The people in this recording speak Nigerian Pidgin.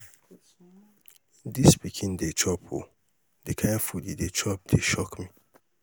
dis pikin dey chop ooo. the kin food he chop dey shock me.